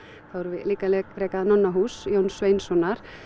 þá erum við líka að reka Nonnahús Jóns Sveinssonar